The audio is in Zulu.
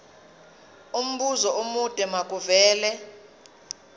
umbuzo omude makuvele